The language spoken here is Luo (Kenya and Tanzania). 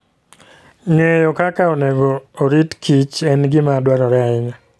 Ng'eyo kaka onego orit kich en gima dwarore ahinya.